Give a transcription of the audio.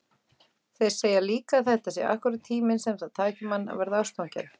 Þeir segja líka að þetta sé akkúrat tíminn sem það taki mann að verða ástfanginn.